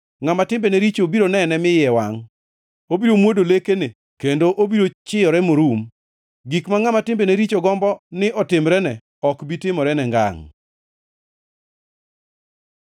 Ngʼama timbene richo biro nene mi iye wangʼ, obiro mwodo lekene kendo obiro chiyore morum; gik ma ngʼama timbene richo gombo ni otimrene ok bi timorene ngangʼ.